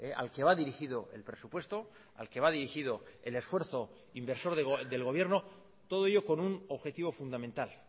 al que va dirigido el presupuesto al que va dirigido el esfuerzo inversor del gobierno todo ello con un objetivo fundamental